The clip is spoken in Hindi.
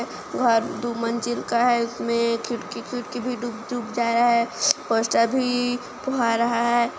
घर दो मंजिल का है उसमें खिड़की - खिड़की भी डूब - डूब जा रहा है पोस्टर भी फुआ रहा है।